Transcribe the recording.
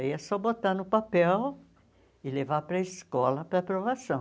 Aí é só botar no papel e levar para a escola para aprovação.